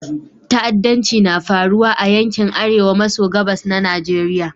Ta'addanci na faruwa a yankin Arewa maso gabas na Nigeriya.